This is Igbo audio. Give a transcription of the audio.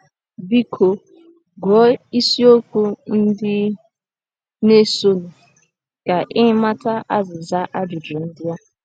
Biko, gụọ isiokwu ndị na - esonụ ka ị mata azịza ajụjụ ndị a.